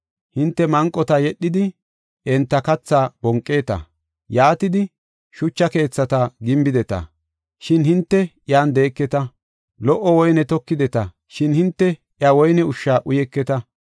Hinte manqota yedhidi, enta kathaa bonqeeta. Yaatidi shucha keethata gimbideta; shin hinte iyan de7eketa. Lo77o woyne tokideta; shin hinte he woyne ushsha uyeketa.